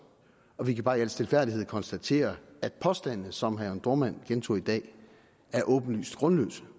og vi kan bare i al stilfærdighed konstatere at påstandene som herre dohrmann gentog i dag er åbenlyst grundløse